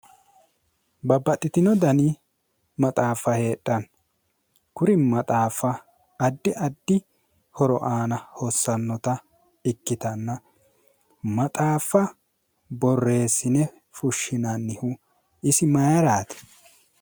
Babbaxxitino dani maxaaffa heedhanno kuri maxaaffa addi addi horo aana hossannota ikkitanna maxaaffa borreessine fushshinannihu isi mayraati